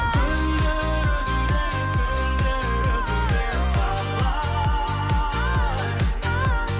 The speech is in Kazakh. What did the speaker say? күндер өтуде түндер өтуде талай